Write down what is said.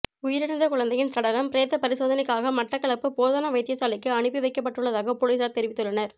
உயிரிழந்த குழந்தையின் சடலம் பிரேத பரிசோதனைக்காக மட்டக்களப்பு போதனா வைத்தியசாலைக்கு அனுப்பி வைக்கப்பட்டுள்ளதாக பொலிஸார் தெரிவித்துள்ளனர்